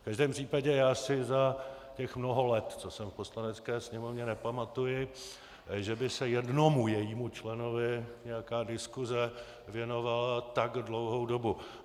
V každém případě já si za těch mnoho let, co jsem v Poslanecké sněmovně, nepamatuji, že by se jednomu jejímu členovi nějaká diskuse věnovala tak dlouhou dobu.